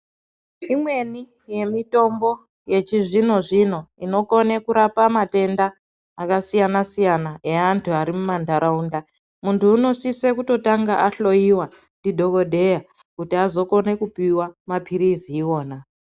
Imweni yemitombo yechizvinozvino inokone kurapa matenda akasiyanasiyana eantu arimumanharaunda munhu unosise kutotanga ahloyiwa ndidhokodheya kuti azokone kupiwa mapilizi iona.